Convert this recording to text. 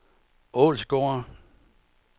Ålsgårde